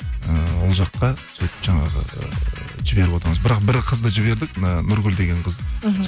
ыыы ол жаққа сөйтіп жаңағы ыыы жіберіп отырамыз бірақ бір қызды жібердік нүргүл деген қызды мхм